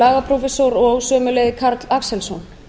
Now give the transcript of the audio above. lagaprófessor og sömuleiðis karl axelsson